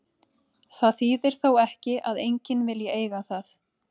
Það þýðir þó ekki að enginn vilji eiga það.